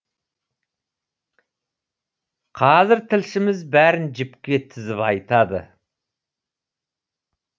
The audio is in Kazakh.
қазір тілшіміз бәрін жіпке тізіп айтады